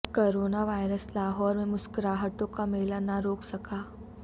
corona virus Lahore میں مسکراہٹوں کا میلہ نہ روک سکا